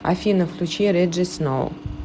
афина включи реджи сноу